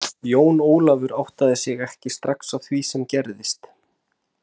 Jón Ólafur áttaði sig ekki srax á því sem gerðist.